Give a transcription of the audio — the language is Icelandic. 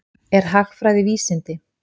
Er hagfræði vísindi?